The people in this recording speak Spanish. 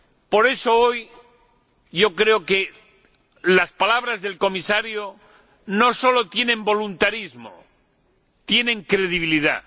Por eso hoy yo creo que las palabras del Comisario no solo demuestran voluntarismo, sino que tienen credibilidad.